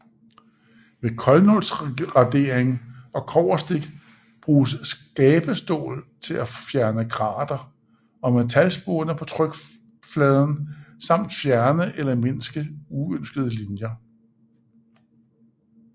Ved koldnålsradering og kobberstik bruges skabestål til at fjerne grater og metalspåner på trykpladen samt fjerne eller mindske uønskede linjer